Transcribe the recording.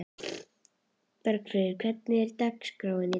Bergfríður, hvernig er dagskráin í dag?